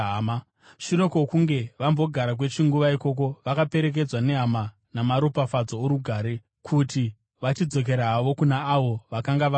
Shure kwokunge vambogara kwechinguva ikoko, vakaperekedzwa nehama namaropafadzo orugare kuti vachidzokera havo kuna avo vakanga vavatuma.